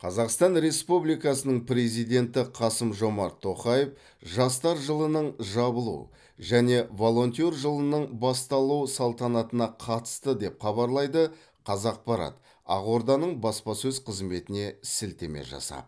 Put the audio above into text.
қазақстан республикасының президенті қасым жомарт тоқаев жастар жылының жабылу және волонтер жылының басталу салтанатына қатысты деп хабарлайды қазақпарат ақорданың баспасөз қызметіне сілтеме жасап